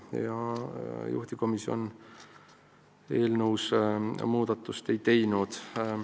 Nii et juhtivkomisjon eelnõus muudatust ei teinud.